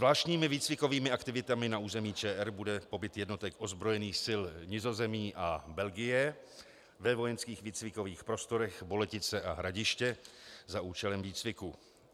Zvláštními výcvikovými aktivitami na území ČR bude pobyt jednotek ozbrojených sil Nizozemí a Belgie ve vojenských výcvikových prostorech Boletice a Hradiště za účelem výcviku.